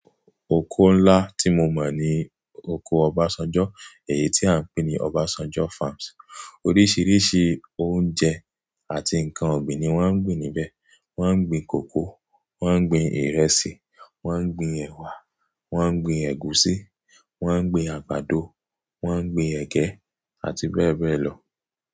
Oko ńlá tí mo mọ̀ ni oko Obasanjo, èyí tí a ń pè ní Obasanjo farms. Oríṣiríṣi oúnjẹ àti nǹkan ọ̀gbìn ni wọ́n á ń gbin níbẹ̀, wọ́n á ń gbin kókò, wọ́n á ń gbin ìrẹsì, wọ́n á ń gbin ẹwà, wọ́n á ń gbin ẹ̀gúsí, wọ́n á ń gbin àgbàdo, wọ́n á ń gbin ẹgẹ àti bẹ́ẹ̀ bẹ́ẹ̀ lọ.